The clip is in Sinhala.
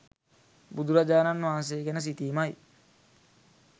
බුදුරජාණන් වහන්සේ ගැන සිතීමයි.